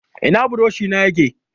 Ina buroshi na yake?